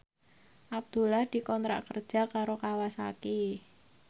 Abdullah dikontrak kerja karo Kawasaki